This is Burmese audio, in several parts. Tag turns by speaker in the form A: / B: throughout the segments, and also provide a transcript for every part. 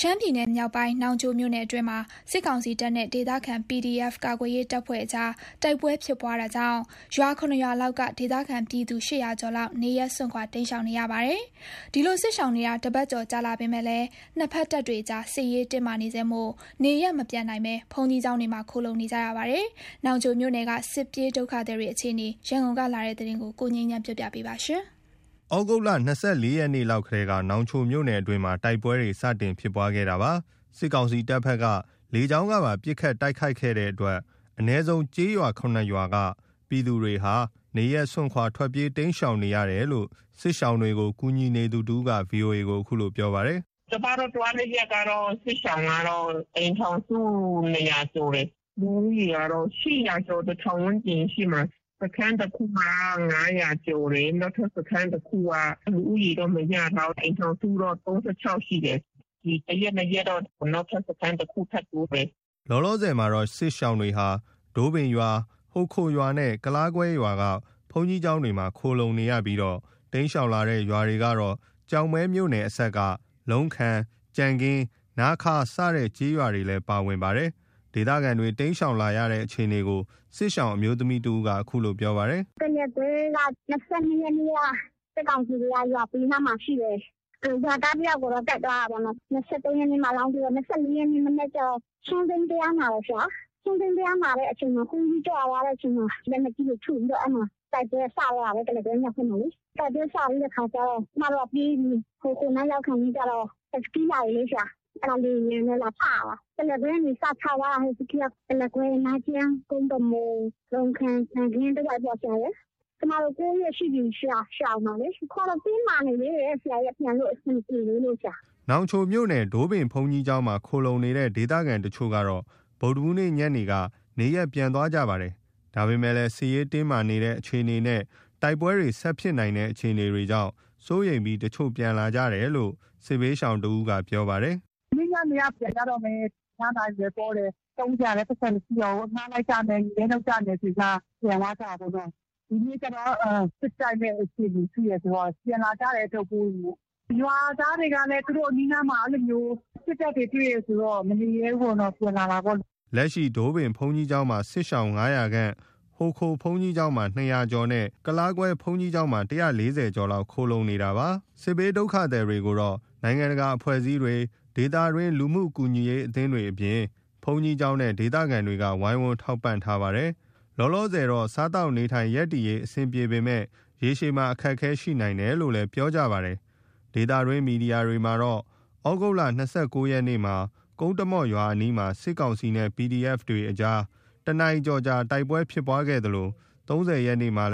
A: ရှမ်းပြည်နယ်မြောက်ပိုင်း နောင်ချိုမြို့နယ်အတွင်းမှာ စစ်ကောင်စီတပ်နဲ့ ဒေသခံ PDF ကာကွယ်ရေးတပ်ဖွဲ့ကြား တိုက်ပွဲဖြစ်ပွားတာကြောင့် ၇ ရွာ လောက်က ဒေသခံပြည်သူ ၈၀၀ ကျော်ဝန်းကျင် နေရပ်စွန့်ခွာ တိမ်းရှောင်နေရပါတယ်။ ဒီလို စစ်ရှောင်နေတာ တပတ်ကျော် ကြာမြင့်လာပေမဲ့ နှစ်ဘက်တပ်တွေကြား စစ်ရေးတင်းမာနေဆဲမို့ နေရပ်မပြန်နိုင်ဘဲ ဘုန်းကြီးကျောင်းတွမှာ ခိုလှုံနေကြရပါတယ်။ နောင်ချိုမြို့နယ်က စစ်ပြေးဒုက္ခသည်တွေ အခြေအနေ ရန်ကုန်ကလာတဲ့ သတင်းကို ကိုငြိမ်းချမ်းက တင်ပြပေးထားပါတယ်။
B: သြဂုတ်လ ၂၄ ရက်နေ့ လောက်ကတည်းက နောင်ချိုမြို့နယ်အတွင်းမှာ တိုက်ပွဲတွေ စတင်ဖြစ်ပွားခဲ့တာပါ။ စစ်ကောင်စီတပ်ဘက်က လေကြောင်းကပါ ပစ်ခတ် တိုက်ခိုက်ခဲ့တဲ့အတွက် အနည်းဆုံး ကျေးရွာ ၇ ရွာလောက်က ပြည်သူတွေဟာ နေရပ်စွန့်ခွာ ထွက်ပြေး တိမ်းရှောင်နေရတယ်လို့ စစ်ရှောင်တွေကို ကူညီနေသူတဦးက VOA ကို အခုလို ပြောပါတယ်။ “
C: ကျမတို့သွားတဲ့အချိန်ကတော့ စစ်ရှောင် အိမ်ထောင်စု ၂၀၀ ကျော်တယ်။ လူဦးရေကတော့ ၈၀၀ ကျော် ၁,၀၀၀ ဝန်းကျင်ရှိမှာ။ စခန်းတခုမှာက ၅၀၀ ကျော်တယ်။ နောက်ထပ် စခန်းတခုက လူဦးရေတော့ မရထားဘူး။ အိမ်ထောင်စုတော့ ၃၆ ရှိတယ်။ ဒီ တရက်၊ နှစ်ရက်တော့ နောက်ထပ် စခန်းတခု ထပ်တ
B: ိုးတယ်။” လောလောဆယ်မှာ စစ်ရှောင်တွေဟာ ဒိုးပင်ရွာ၊ ဟိုခိုရွာနဲ့ ကုလားကွဲရွာက ဘုန်းကြီးကျောင်းတွေမှာ ခိုလှုံနေကြပြီး တိမ်းရှောင်လာတဲ့ ရွာတွေကတော့ ကျောက်မဲမြို့နယ်အစပ် လုံခံ၊ ကြံခင်း၊ နားခါး၊ စတဲ့ ကျေးရွာတွေလည်း ပါဝင်ပါတယ်။ ဒေသခံတွေ တိမ်းရှောင်လာရတဲ့ အခြေအနေကို စစ်ရှောင်အမျိုးသမီးတဦးက အခုလို ပြောပါတယ်။
C: “ကုလားကွဲက ၂၂ ရက်နေ့က စစ်ကောင်စီတွေက ရွာဘေးနားမှာရှိတယ်။ ရွာသားတယောက်ကိုတော့ သတ်သွားတာပေါ့နော်။ ၂၃ ရက်နေ့မှာ အလောင်းတွေ့တာ။ ၂၄ ရက်နေ့ကျတော့ ဆွမ်းစိမ်းတရားနာတယ်။ ဆွမ်းစိမ်းတရားနာတဲ့အခါ ဘုန်းကြီးကြွသွားပြီးတဲ့အချိန်မှာ လက်နက်ကြီးတွေ ထုပြီးတော့ တိုက်ပွဲက စတော့တာပဲ။ ကုလားကွဲမြောက်ဘက်မှာလေ။ တိုက်ပွဲစတဲ့အခါကျ ကျမတို့က ပြေးပြီ။ ဟိုခိုနားရောက်တဲ့အခါကျတော့ ဟတ်စကီးလာပြီလေ။ အဲဒါ လေယာဉ်တွေနဲ့ လာချ တာ။ ကုလားကွဲကနေ စချသွားတာ ဟတ်စကီးက ကုလားကွဲ၊ နားကျန်း၊ ကုန်းတမော့၊လုံခံ၊ ကြံခင်းတဝိုက်ပေါ့။ ကျမတို့ ၉ ရက်ရှိပြီ ရှောင်တာလေ။ အခုကတော့ တင်းမာနေသေးတယ်။ ပြန်လို့ အဆင်မပြေသေးလို့။
B: ” နောင်ချိုမြို့နယ် ဒိုးပင်ဘုန်းကြီးကျောင်းမှာ ခိုလှုံနေတဲ့ ဒေသခံတချို့ကတော့ ဗုဒ္ဓဟူးနေ့ညနေက နေရပ်ပြန်သွားကြပါတယ်။ ဒါပေမယ့်လည်း စစ်ရေးတင်းမာနေတဲ့ အခြေအနေနဲ့ တိုက်ပွဲတွေ ဆက်ဖြစ်နိုင်တဲ့အခြေအနေကြောင့် စိုးရိမ်ပြီး တချို့ပြန် လာကြတယ်လို့ စစ်ဘေးရှောင်တဦးက ပြောပါတယ်။
C: “မနေ့ညနေက ပြန်ကြတော့မယ်။ အဖျားအနာလည်း ပေါတယ်။ သုံးစရာလည်း ပိုက်ဆံ မရှိတော့ဘူး။ အငှားလိုက်ကြမယ်။ မြေပဲနုတ်ကြမယ်ဆိုပြီးမှ ပြန်သွားကြတာပေါ့နော။ ဒီနေ့ကျတော့ စစ်တိုက်မယ့်အခြေအနေ ရှိတယ်ဆိုတော့ ပြန်လာကြတယ်။ အထုပ်အပိုးတွေနဲ့။ ရွာသားတွေကလည်း သူတို့အနီးအနားမှာ အဲလိုမျိုး စစ်တပ်တွေ တွေ့တယ်ဆိုတော့ မနေရဲဘူးပေါ့နော် ပြန်လာတာပေါ့။
B: ” လက်ရှိမှာ ဒိုးပင်ဘုန်းကြီးကျောင်းမှာ စစ်ရှောင် ၅၀၀ ခန့်၊ ဟိုခိုဘုန်းကြီးကျောင်းမှာ ၂၀၀ ကျော်နဲ့ ကုလားကွဲဘုန်းကြီး ကျောင်းမှာ ၁၄၀ ကျော်လောက် ခိုလှုံနေတာဖြစ်ပါတယ်။ စစ်ရှောင်တွေကိုတော့ နိုင်ငံတကာအဖွဲ့အစည်းတွေ၊ ဒေသတွင်း လူမှုကူညီရေးအသင်းအဖွဲ့တွေအပြင် ဘုန်းကြီးကျောင်းနဲ့ ဒေသခံတွေက ဝိုင်းဝန်းထောက်ပံ့ထားပါတယ်။ လောလောဆယ် စားသောက်နေထိုင်ရပ်တည်ရေး အဆင်ပြေပေမဲ့ ရေရှည်မှာ အခက်အခဲ ရှိနိုင်တယ်လို့ ပြောဆိုကြပါတယ်။ ဒေသတွင်းသတင်းမီဒီယာတွေမှာတော့ သြဂုတ်လ ၂၉ ရက်နေ့မှာ ကုန်းတမော့ ရွာ အနီးမှာ စစ်ကောင်စီနဲ့ PDF အကြား တနာရီကျော်ကြာ တိုက်ပွဲဖြစ်ခဲ့သလို ၃၀ ရက်နေ့မှာ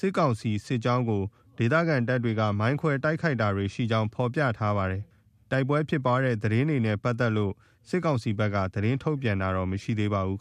B: စစ်ကောင်စီစစ်ကြောင်းကို ဒေသခံတပ်တွေ မိုင်းခွဲတိုက်ခိုက်တာတွေ ရှိကြောင်း ဖော်ပြထားပါတယ်။ တိုက်ပွဲဖြစ်ပွားတဲ့ သတင်းတွေနဲ့ ပတ်သက်လို့ စစ်ကောင်စီဘက်က သတင်းထုတ်ပြန်တာတော့ မရှိသေးပါဘူး။